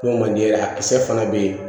N'o man di ye a kisɛ fana bɛ yen